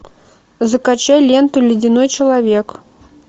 закачай ленту ледяной человек